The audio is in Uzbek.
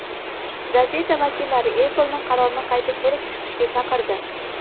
Gazeta vakillari Apple’ni qarorni qayta ko‘rib chiqishga chaqirdi.